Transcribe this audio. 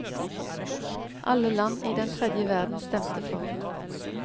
Alle land i den tredje verden stemte for.